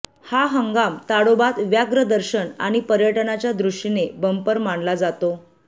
हा हंगाम ताडोबात व्याघ्र दर्शन आणि पर्यटनाच्या दृष्टीने बंपर मानलाजातो